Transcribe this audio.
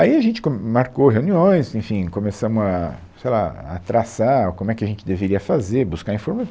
Aí a gente com, marcou reuniões, enfim, começamos a, sei lá, a traçar o como é que a gente deveria fazer, buscar